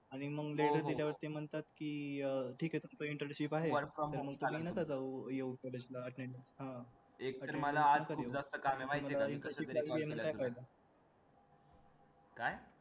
letter दिल्यानंतर म्हणतात ठीक आहे letter sheet आहे work